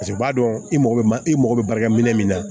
Paseke u b'a dɔn i mago bɛ man i mako bɛ baarakɛ minɛ min na